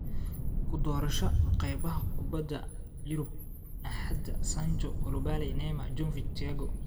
Kudorosha Kheybaha Kubaxa Yurub Axad: Sancho, Koulibaly, Neymar, Jovic, Thiago